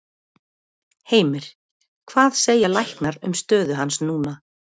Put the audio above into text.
Heimir: Hvað segja læknar um stöðu hans núna?